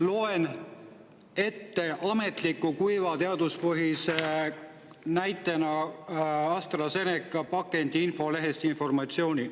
Loen ette ametliku, kuiva, teaduspõhise informatsiooni AstraZeneca pakendi infolehest.